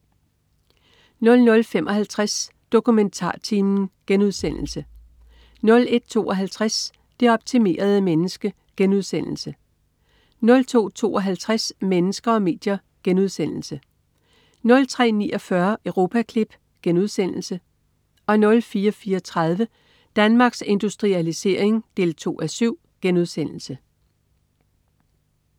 00.55 DokumentarTimen* 01.52 Det optimerede menneske* 02.52 Mennesker og medier* 03.49 Europaklip* 04.34 Danmarks Industrialisering 2:7*